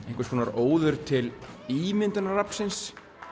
óður til ímyndunaraflsins